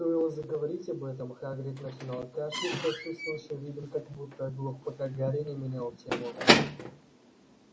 стоило заговорить об этом хагрид начинал кашлять с отсутствующим видом как будто оглох пока гарри не менял тему